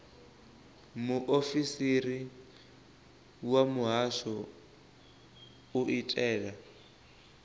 muofisiri wa muhasho u itela